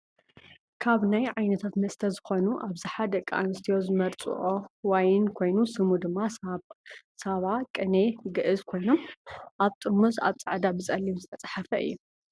ካብ ናይ ዓይነታተ መስተ ዝኮኑ ኣብዝሓ ደቂ ኣንስትዩ ዝመርፅኦ ዋይን ኮይኑ ስሙ ድማ ሳባ፣ ቅኔ፣ ግዕዝ ኮይኖም ኣብ ጥርሙዝ ኣብ ፃዕዳ ብፀሊም ዝተፃሓፈ እዩ።